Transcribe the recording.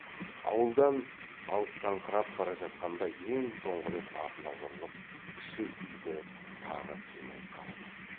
ауылдан алыстаңқырап бара жатқанда ең соңғы рет артына бұрылып кіші үйді тағы қимай қарап еді